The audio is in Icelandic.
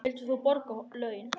Vildir þú borga honum laun?